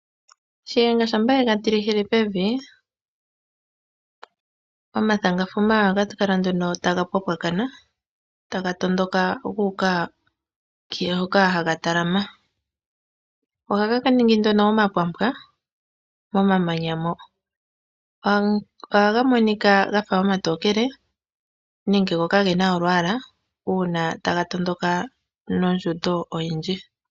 Shiyenga shampa yega tilehile pevi ,omathangafuma ohaga kala nduno taga pwapwakana taga tondoka guuka hoka haga talama. Ohaga ningi nduno omapwampwa momamanya mo. Ohaga monika gafa omatokele nenge go kagena olwaala uuna taga tondoka nondjundo oyindji.